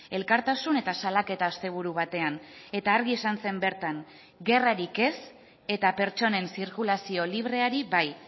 elkartasun eta salaketa asteburu batean eta argi esan zen bertan gerrarik ez eta pertsonen zirkulazio libreari bai